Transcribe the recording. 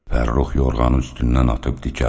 Fərrux yorğanın üstündən atıb dikəldi.